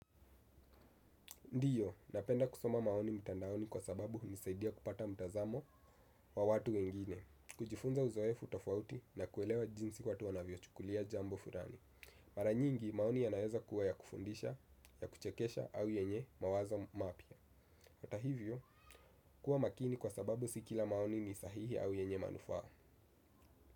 Ndiyo, napenda kusoma maoni mtandaoni kwa sababu hunisaidia kupata mtazamo wa watu wengine, kujifunza uzoefu tofauti na kuelewa jinsi watu wanavyo chukulia jambo fulani. Maranyingi, maoni yanaeza kuwa ya kufundisha, ya kuchekesha au yenye mawazo mapya. Hata hivyo, kuwa makini kwa sababu sikila maoni ni sahihi au yenye manufaa.